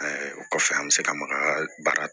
o kɔfɛ an bɛ se ka maka baara